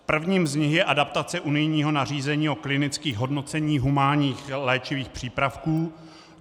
Prvním z nich je adaptace unijního nařízení o klinických hodnoceních humánních léčivých přípravků.